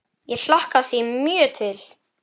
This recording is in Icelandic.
Ég hlakka því mjög til.